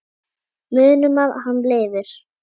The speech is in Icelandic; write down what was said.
Munum að hann lifir.